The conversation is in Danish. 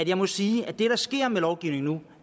jeg må sige at det der sker med lovgivningen nu